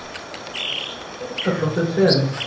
Dökkgrár frakki og köflóttur trefill.